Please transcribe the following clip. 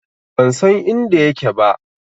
Ban san inda yake ba.